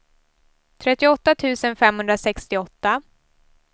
trettioåtta tusen femhundrasextioåtta